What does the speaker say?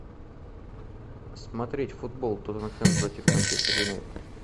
смотреть футбол тоттенхэм против манчестер юнайтед